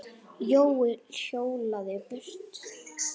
Jói hjólaði burt.